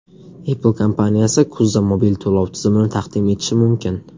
Apple kompaniyasi kuzda mobil to‘lov tizimini taqdim etishi mumkin.